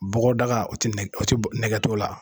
Bɔgɔdaga o tɛ o tɛ nɛgɛ t'ola.